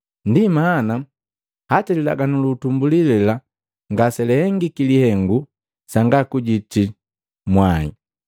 Ndi mana hata lilaganu lu utumbuli lela ngaselahengiki lihengu sanga kujitika mwai.